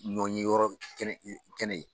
Nɔ ye yɔrɔ kɛnɛ ye.